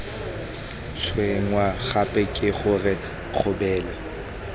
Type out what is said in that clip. tshwenngwa gape ke gore kgabele